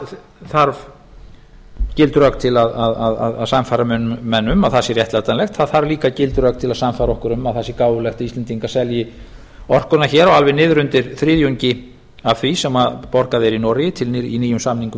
það þarf gild rök til að sannfæra menn um að það sé réttlætanlegt það þarf líka gild rök til að sannfæra okkur um að það sé gáfulegt að íslendingar selji orkuna hér á alveg niður undir þriðjungi af því sem borgað er í noregi í nýjum samningum í